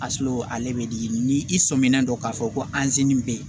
A sɔrɔ ale bɛ di ni i sɔminan dɔ k'a fɔ ko an sini bɛ yen